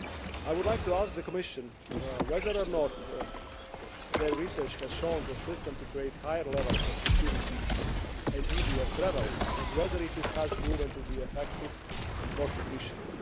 I would like to ask the Commission whether or not its research has shown the system to create higher levels of security and ease of travel, and whether it has proven to be effective and cost efficient.